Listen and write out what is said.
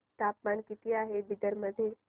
तापमान किती आहे बिदर मध्ये